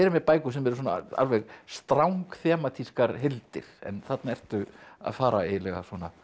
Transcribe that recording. með bækur sem eru alveg heildir en þarna ertu að fara eiginlega